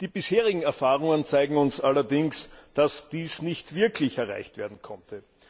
Die bisherigen Erfahrungen zeigen uns allerdings, dass dies nicht wirklich erreicht werden konnte.